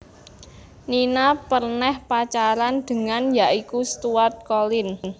Nina perneh Pacaran dengan ya iku Stuart Collin